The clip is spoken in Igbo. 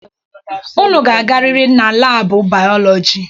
Unu ga-agarịrị na laabụ bayolọjị!